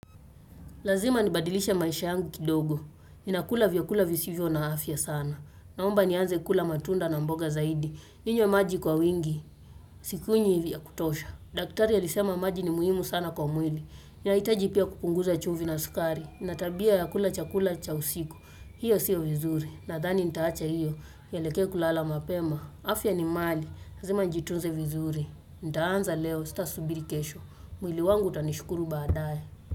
Lazima nibadilishe maisha yangu kidogo, ninakula vyakula visivyo na afya sana. Naomba nianze kula matunda na mboga zaidi, ninywe maji kwa wingi, sikunywi hivi ya kutosha. Daktari alisema maji ni muhimu sana kwa mwili, inaitaji pia kupunguza chumvi na sukari, inatabia ya kula chakula cha usiku, hiyo siyo vizuri, nathani nitaacha hiyo, nileke kulala mapema. Afya ni mali, lazima njitunze vizuri, nitaanza leo sita subirili kesho, mwili wangu utanishukuru baadaye.